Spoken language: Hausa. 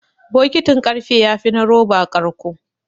Bokitin ƙarfe yafi na roba ƙarƙo.